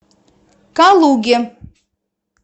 калуге